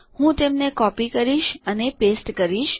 હું તેમને કાપીશ અને ચોતાડીશ